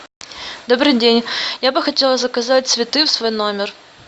добрый день я бы хотела заказать цветы в свой номер